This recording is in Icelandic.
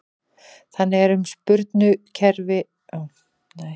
Þannig er um sprungukerfi með